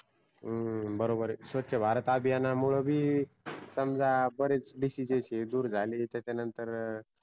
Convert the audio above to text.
हूं बरोबरय स्वच्छ भारत अभियानामुळ बी बरेच DISEASES हे दुर झाले त्यांच्यनतंर